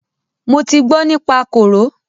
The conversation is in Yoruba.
Mo ti gbọ nípa kòró.